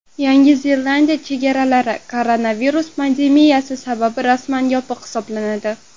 Yangi Zelandiya chegaralari koronavirus pandemiyasi sabab rasman yopiq hisoblanadi.